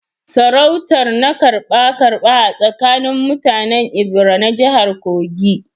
Sarautar na karba-karba a tsakanin mutanen Ebira na jihar Kogi